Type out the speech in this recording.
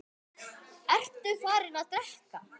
Ertu farinn að drekka?